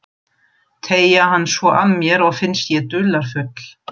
Teyga hann svo að mér og finnst ég dularfull.